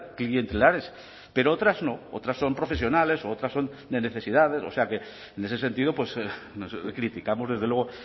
clientelares pero otras no otras son profesionales u otras son de necesidades o sea que en ese sentido criticamos desde luego